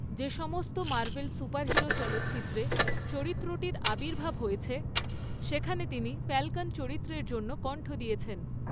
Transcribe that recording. যে সমস্ত Marvel superhero চলচ্চিত্রে চরিত্রটির আবির্ভাব হয়েছে সেখানে তিনি ফ্যালকন চরিত্রের জন্য কণ্ঠ দিয়েছেন।